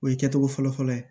O ye kɛcogo fɔlɔfɔlɔ ye